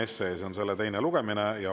See on selle teine lugemine.